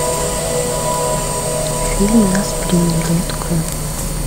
фильм нас приняли открой